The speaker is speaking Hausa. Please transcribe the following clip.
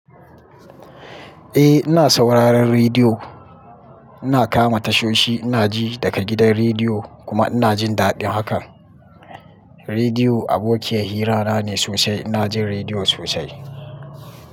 Eh, ina sauraron rediyo. Ina kama tashoshi, ina ji daga gidan rediyo kuma ina jin daɗin hakan. Rediyo abokiyar hirana ne sosai. Ina jin rediyo sosai.